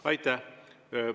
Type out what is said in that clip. Aitäh!